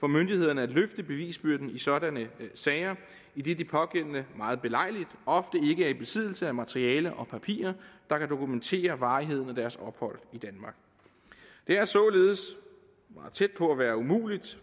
myndighederne at løfte bevisbyrden i sådanne sager idet de pågældende meget belejligt ofte ikke er i besiddelse af materiale og papirer der kan dokumentere varigheden af deres ophold i danmark det er således meget tæt på at være umuligt